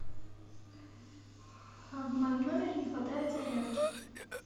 а в моем номере не хватает зарядки